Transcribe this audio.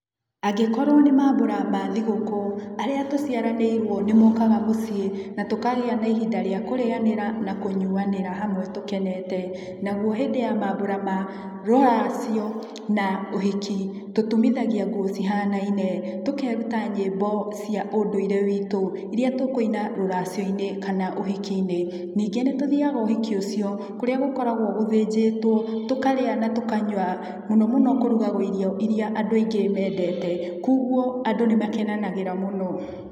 Angĩkorwo nĩ mambura ma thigũkũ arĩa tũciaranĩrwo nĩmokaga mũciĩ na tũkagĩa na ihinda rĩa kũrĩanĩra na kũnyũanĩra hamwe tũkenete, nakuo mambura ma rũracio na ũhiki tũtumithagia nguo cihanaine, tũkeruta nyĩmbo cia ũndũire witũ, iria tũkũina rũracionĩ kana ũhikinĩ, nĩngĩ nĩ tũthiaga ũhiki ũcio kũrĩa gũkoragwo gũthĩnjĩtwo tũkarĩa natũkunywa. Muno muno kũrugagwo irio irĩa andũ aingĩ mendete, kwoguo andũ nĩmakenagĩrĩra mũno.